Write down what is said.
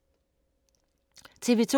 TV 2